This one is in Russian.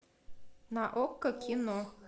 на окко кино